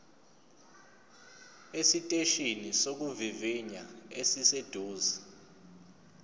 esiteshini sokuvivinya esiseduze